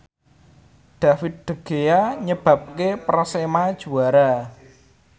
David De Gea nyebabke Persema juara